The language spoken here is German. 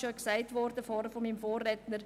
Von meinem Vorredner wurde auch gesagt: